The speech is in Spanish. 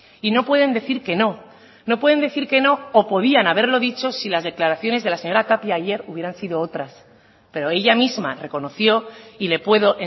y no pueden decir que no no pueden decir que no o podían haberlo dicho si las declaraciones de la señora tapia ayer hubieran sido otras pero ella misma reconoció y le puedo